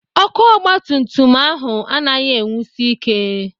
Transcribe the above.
Ọkụ ọgbatumtum ahụ anaghị enwusi ike.